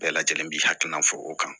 Bɛɛ lajɛlen bi hakilina fɔ o kan